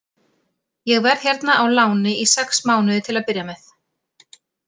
Ég verð hérna á láni í sex mánuði til að byrja með.